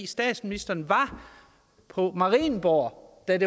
statsministeren var på marienborg da